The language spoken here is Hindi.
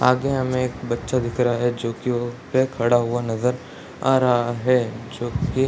आगे हमे एक बच्चा दिख रहा है जो की वो खड़ा हुआ नज़र आ रहा है जो की --